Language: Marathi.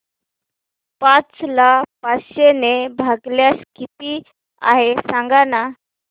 पाच ला पाचशे ने भागल्यास किती आहे सांगना